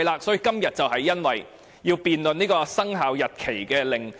所以，今天我們要辯論生效日期公告。